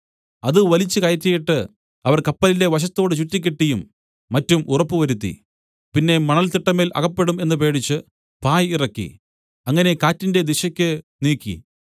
അത് വലിച്ചുകയറ്റിയിട്ട് അവർ കപ്പലിന്റെ വശത്തോട് ചുറ്റിക്കെട്ടിയും മറ്റും ഉറപ്പുവരുത്തി പിന്നെ മണൽത്തിട്ടമേൽ അകപ്പെടും എന്നു പേടിച്ചു പായ് ഇറക്കി അങ്ങനെ കാറ്റിന്റെ ദിശയ്ക്ക് നീക്കി